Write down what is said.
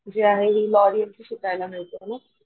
जी आहे हि लॉरिअल ची शिकायला मिळते मग